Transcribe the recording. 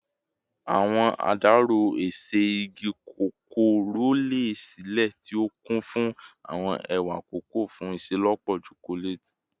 Awọn adarọ-ese igi koko rọlẹ silẹ, ti o kun fun awọn ewa koko fun iṣelọpọ chocolate